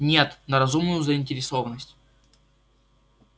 нет на разумную заинтересованность